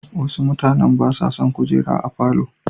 Wasu mutanen ba sa son kujeru a falo.